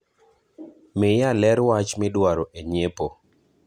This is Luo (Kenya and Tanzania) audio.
miya ler wach miduoro e nyiepo